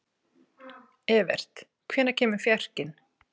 Evert, hvenær kemur fjarkinn?